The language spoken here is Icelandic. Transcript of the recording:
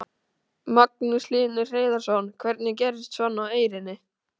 Magnús Hlynur Hreiðarsson: Hvernig gerist svona á Eyrinni?